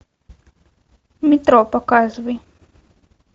метро показывай